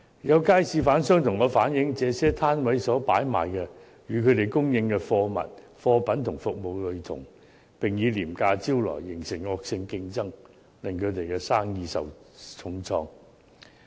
有街市販商向我反映，這些攤位所擺賣的物品與他們供應的貨品和服務類同，並以廉價招徠，形成惡性競爭，令他們的生意受到重創。